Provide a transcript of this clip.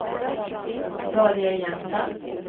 Börje Jensen